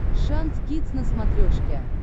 шант кидс на смотрешке